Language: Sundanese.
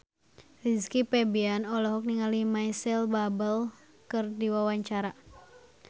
Rizky Febian olohok ningali Micheal Bubble keur diwawancara